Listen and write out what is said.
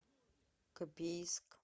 копейск